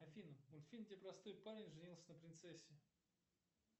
афина мультфильм где простой парень женился на принцессе